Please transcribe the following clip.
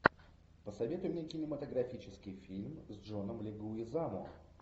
посоветуй мне кинематографический фильм с джоном легуизамо